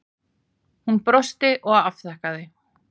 Hún brosti og afþakkaði.